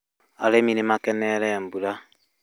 Arĩmi nĩ makeneire mbura